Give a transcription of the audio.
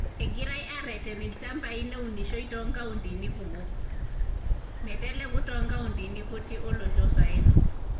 Egirai aareten ilchamabai neunishoi too nkauntini kumok, meteleku too nkauntini kutik oloo saen o…..